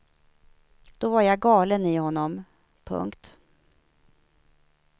Då var jag galen i honom. punkt